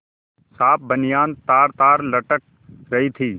साफ बनियान तारतार लटक रही थी